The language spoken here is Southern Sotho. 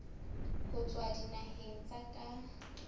ho tswa dinaheng tsa ka